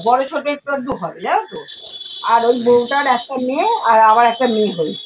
বড়ো ছোট একটু আধটু হবে জানো তো আর ওই বৌটার একটা মেয়ে আর আবার একটা মেয়ে হয়েছে।